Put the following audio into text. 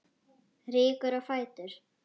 Rýkur á fætur.